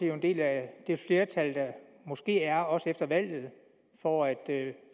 jo en del af det flertal der måske er også efter valget for at